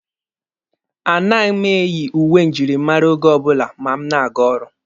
Anaghị m eyi uwe njirimara oge ọbụla ma m na-aga ọrụ.